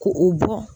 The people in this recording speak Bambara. Ko u bɔ